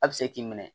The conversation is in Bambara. A bɛ se k'i minɛ